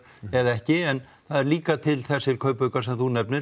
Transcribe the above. eða ekki en það eru líka til þessir kaupaukar sem þú nefnir